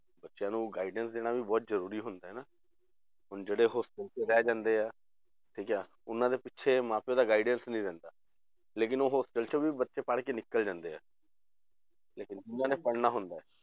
ਬੱਚਿਆਂ ਨੂੰ guidance ਦੇਣਾ ਵੀ ਬਹੁਤ ਜ਼ਰੂਰੀ ਹੁੰਦਾ ਹੈ ਨਾ, ਹੁਣ ਜਿਹੜੇ hostel 'ਚ ਰਹਿ ਜਾਂਦੇ ਆ ਠੀਕ ਆ, ਉਹਨਾਂ ਦੇ ਪਿੱਛੇ ਮਾਂ ਪਿਓ ਦਾ guidance ਨੀ ਰਹਿੰਦਾ, ਲੇਕਿੰਨ ਉਹ hostel 'ਚ ਵੀ ਬੱਚੇ ਪੜ੍ਹ ਕੇ ਨਿਕਲ ਜਾਂਦੇ ਆ ਲੇਕਿੰਨ ਜਿੰਨਾਂ ਨੇ ਪੜ੍ਹਣਾ ਹੁੰਦਾ ਹੈ